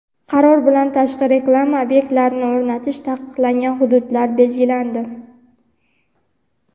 Qaror bilan tashqi reklama obyektlarini o‘rnatish taqiqlangan hududlar belgilandi.